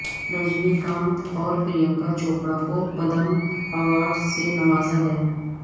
رجنی کانت اور پرینکا چوپڑا کو پدم ایوارڈز سے نوازا گیا